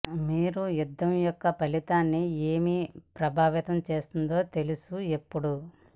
మీరు యుద్ధం యొక్క ఫలితాన్ని ఏమి ప్రభావితం చేస్తుంది తెలుసు ఎప్పుడూ